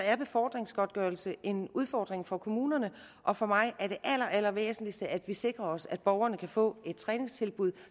er befordringsgodtgørelse en udfordring for kommunerne og for mig er det allerallervæsentligste at vi sikrer os at borgerne kan få et træningstilbud